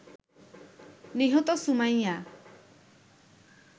নিহত সুমাইয়া